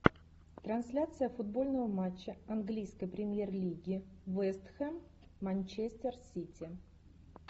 трансляция футбольного матча английской премьер лиги вест хэм манчестер сити